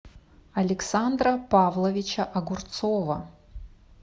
александра павловича огурцова